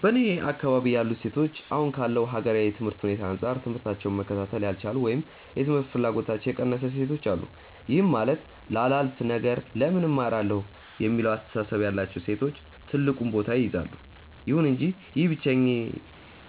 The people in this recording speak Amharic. በእኔ አካባቢ ያሉ ሴቶች አሁን ካለው ሀገራዊ የትምህርት ሁኔታ አንጻር ትምህታቸውን መከታተል ያልቻሉ ወይም የትምህርት ፍላጎታቸው የቀነሰ ሴቶች አሉ። ይህም ማለት ላላፍ ነገር ለምን እማራለሁ የሚለው አስተሳሰብ ያላቸው ሴቶች ትልቁን ቦታ ይይዛሉ። ይሁን እንጂ ይህ